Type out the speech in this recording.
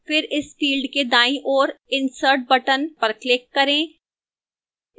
फिर इस field के दाईं ओर insert button पर click करें